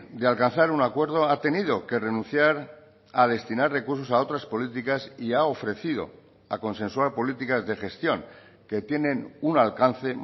de alcanzar un acuerdo ha tenido que renunciar a destinar recursos a otras políticas y ha ofrecido a consensuar políticas de gestión que tienen un alcance